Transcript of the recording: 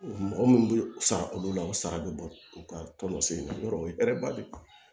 Mɔgɔ minnu bɛ sara olu la o sara bɛ bɔ u ka tɔn sen na yɔrɔ o ye ba bɛ ban